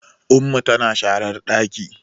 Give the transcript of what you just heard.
Ummu tana sharan ɗaki